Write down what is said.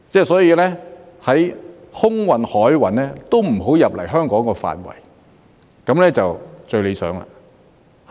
所以，空運及海運都不要進入香港的範圍，這樣便最理想。